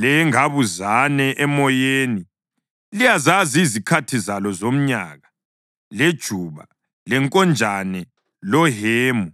Lengabuzane emoyeni liyazazi izikhathi zalo zomnyaka, lejuba, lenkonjane lohemu